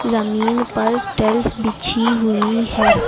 जमीन पर टाइल्स बिछी हुई है।